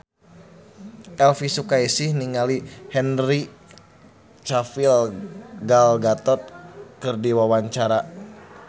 Elvi Sukaesih olohok ningali Henry Cavill Gal Gadot keur diwawancara